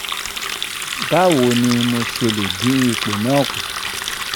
ba wo ni mo se le din ipo na ku